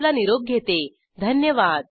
सहभागासाठी धन्यवाद